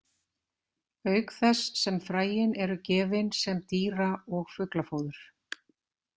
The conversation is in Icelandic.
Auk þess sem fræin eru gefin sem dýra- og fuglafóður.